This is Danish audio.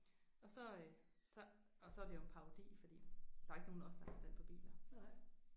Og så øh så og så er det jo en parodi fordi der er ikke nogen af os der har forstand på biler